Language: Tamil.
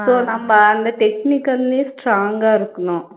so நம்ப அந்த technical லயும் strong ஆ இருக்கனும்